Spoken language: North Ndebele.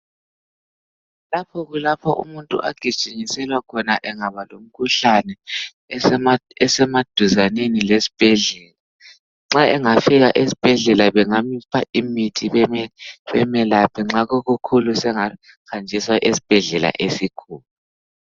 lapha kulapho umuntu agijinyiselwa khona angaba lomkhuhlane esemaduzaneni lesibhedlela nxa engafika esibhedlela bengamupha imithi bemelaphe nxa kukukhulu engahanjiswa esibhedlela esikhulu